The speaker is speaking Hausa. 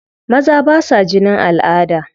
Maza ba sa jinin al'ada.